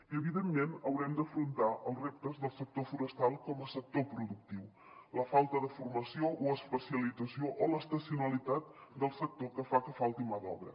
i evidentment haurem d’afrontar els reptes del sector forestal com a sector productiu la falta de formació o especialització o l’estacionalitat del sector que fan que falti mà d’obra